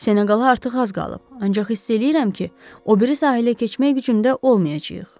Seneqala artıq az qalıb, ancaq hiss eləyirəm ki, o biri sahilə keçmək gücündə olmayacağıq.